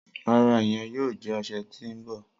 Rara, iyẹn yoo jẹ ọsẹ ti n bọ.